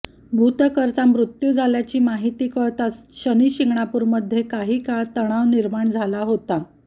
भुतकरचा मृत्यु झाल्याची माहिती कळताच शनिशिंगणापूर मध्ये काही काळ तणाव निर्माण झाला होता